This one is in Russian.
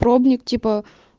пробник типа